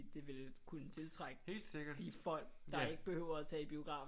Det ville kunne tiltrække de folk der ikke behøver at tage i biografen